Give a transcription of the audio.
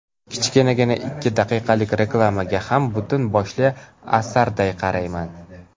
Kichkinagina ikki daqiqalik reklamaga ham butun boshli asarday qarayman.